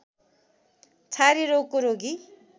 छारे रोगको रोगी